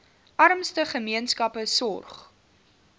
armste gemeenskappe sorg